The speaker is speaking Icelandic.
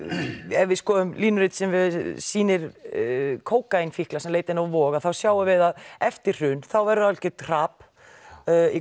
ef við skoðum línurit sem sýnir kókaínfíkla sem leita inn á Vog þá sjáum við að eftir hrun verður algert hrap í